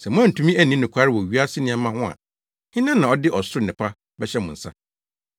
Sɛ moantumi anni nokware wɔ wiase nneɛma ho a, hena na ɔde ɔsoro nnepa bɛhyɛ mo nsa?